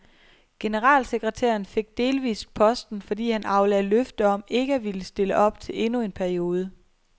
Generalsekretæren fik delvist posten, fordi han aflagde løfte om ikke at ville stille op til endnu en periode.